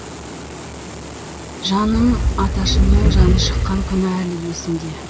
жаным аташымның жаны шыққан күн әлі есімде